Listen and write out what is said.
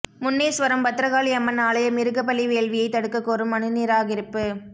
முன்னேஸ்வரம் பத்ரகாளி அம்மன் ஆலய மிருகபலி வேள்வியை தடுக்கக் கோரும் மனு நிராகரிப்பு